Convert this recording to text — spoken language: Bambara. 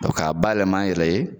k'a bayɛlɛma an yɛrɛ ye.